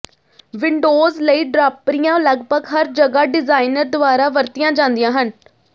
windows ਲਈ ਡਰਾਪਰੀਆਂ ਲਗਭਗ ਹਰ ਜਗ੍ਹਾ ਡਿਜ਼ਾਈਨਰ ਦੁਆਰਾ ਵਰਤੀਆਂ ਜਾਂਦੀਆਂ ਹਨ